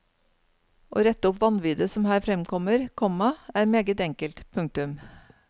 Å rette opp vanviddet som her fremkommer, komma er meget enkelt. punktum